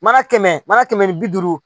Mana kɛmɛ mana kɛmɛ ni bi duuru